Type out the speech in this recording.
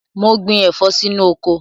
Mo gbin ẹ̀fọ́ sí inú oko.